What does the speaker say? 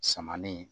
Samanin